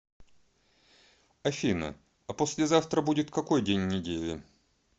афина а послезавтра будет какой день недели